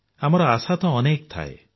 ଆମର ଆଶା ତ ଅନେକ ଥାଏ